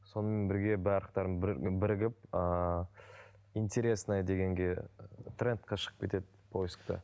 сонымен бірге барлықтары бірігіп ыыы интересное дегенге трендке шығып кетеді поискте